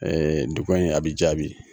duga in a bɛ jaabi.